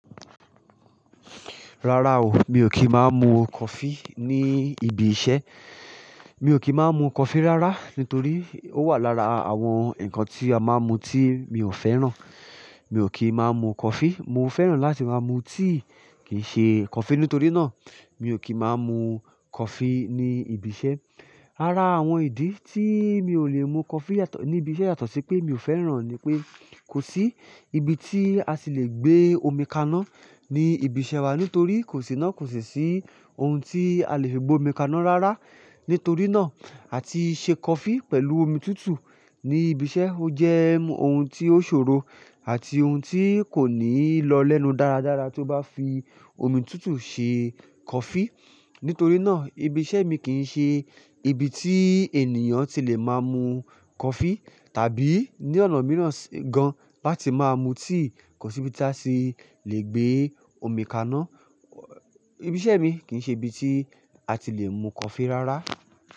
Rárá o, mi ò kí máa mu coffee ní ibi iṣẹ́. Mi ò kí máa mu coffee rárá, nítorí ó wà lára àwọn ǹnkan tí a máa ń mu tí mi ò fẹ́ràn. Mi ò kí máa mu coffee, mo fẹ́ràn láti máa mu tea kì ṣe coffee. Nítorí náà, mi ò kí máa mu coffee ní ibi iṣẹ́. Ara àwọn ìdí tí mi ò lè mu coffee ní ibi iṣẹ́ yàtọ̀ sí pé mi ò fẹ́ràn ni pé kò sí ibi tí a sì le gbé omi kaná ní ibi iṣẹ́ wa nítorí kò sì náà kò sì sí ohun tí a lè fi gbé omi kaná rárá. Nítorí náà, àti ṣe coffee pẹ̀lú omi tútù ní ibi iṣẹ́ ó jẹ́ ohun tí ó ṣòro àti ohun tí kò ní lọ lẹ́nu dáradára tí ó bá fi omi tútù ṣe coffee. Nítorí náà ibi iṣẹ́ mi kì í ṣe ibi tí ènìyàn ti lè máa mu coffee tàbí ní ọ̀nà mìíràn gan-an bá ti máa mu tea. Kò sí ibi tí a tì lè gbé omi kaná. Ibi iṣẹ́ mi kìí ṣe ibi tí a ti lè mu coffee rárá.